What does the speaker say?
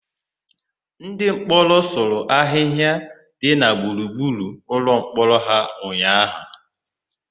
Ndịmkpọrọ sụrụ ahịhịa dị na gburugburu ụlọmkpọrọ ha ụnyaahụ.